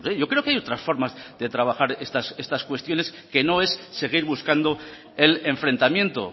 yo creo que hay otras formas de trabajar estas cuestiones que no es seguir buscando el enfrentamiento